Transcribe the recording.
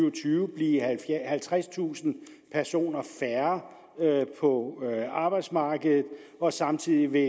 og tyve blive halvtredstusind personer færre på arbejdsmarkedet og samtidig vil